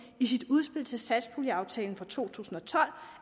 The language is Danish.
i sit udspil til satspuljeaftale for to tusind og tolv